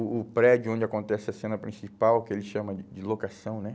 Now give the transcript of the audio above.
O o prédio onde acontece a cena principal, que ele chama de de locação, né?